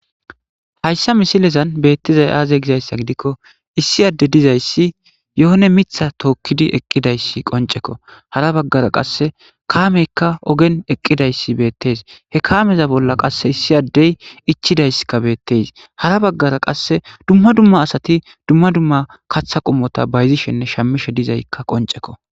Haysa misilezan beetizay aze gizaysa gidikon issi ade dizaysi yehone Mitha tookidi eqidaysi qoncekko, hara bagara qase kaameyka ogen eqidaysi beetesi, he kaameza bolla qase issi Adey ichidaysika beetes, hara bagara qase dumma dumma asati dumma dumma katha qomota bayzishenne shamishe dizaysika qoncekko.